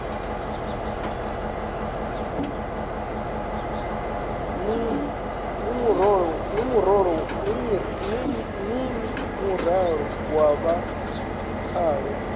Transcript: ḽine muraḓo wa vha khaḽo